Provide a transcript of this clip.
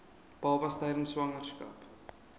babas tydens swangerskap